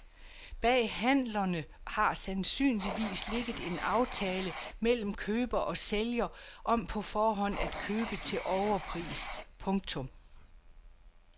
Bag handlerne har sandsynligvis ligget en aftale mellem køber og sælger om på forhånd at købe til overpris. punktum